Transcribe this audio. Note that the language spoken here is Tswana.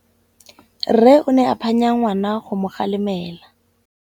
Rre o ne a phanya ngwana go mo galemela.